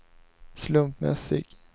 slumpmässig